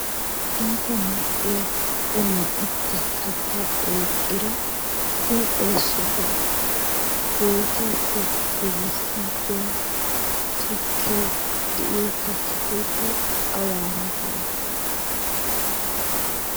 Iita mal'iya uluwan uttiya katta oyiqqida huuphe sohuwa bootaappe yedissiiggiya tukkee de'iyo katta keettay awaara dii?